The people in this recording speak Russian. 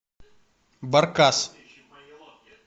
баркас